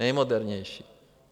Nejmodernější.